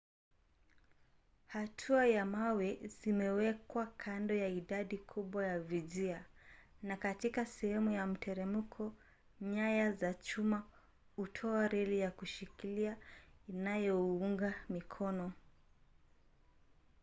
hatua za mawe zimewekwa kando ya idadi kubwa ya vijia na katika sehemu za mteremko nyaya za chuma hutoa reli za kushikiliwa inayounga mikono